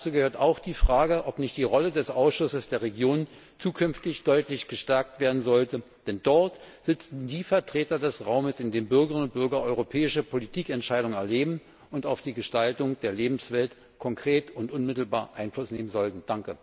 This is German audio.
Dazu gehört auch die Frage, ob nicht die Rolle des Ausschusses der Regionen zukünftig deutlich gestärkt werden sollte, denn dort sitzen die Vertreter des Raums, in dem Bürgerinnen und Bürger europäische Politikentscheidungen erleben, die auf die Gestaltung der Lebenswelt konkret und unmittelbar Einfluss nehmen sollten.